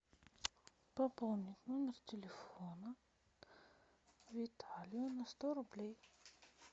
пополнить номер телефона виталия на сто рублей